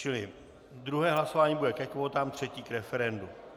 Čili druhé hlasování bude ke kvótám, třetí k referendu.